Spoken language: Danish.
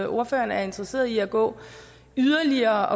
ordføreren er interesseret i at gå yderligere